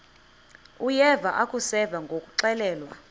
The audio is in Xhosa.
uyeva akuseva ngakuxelelwa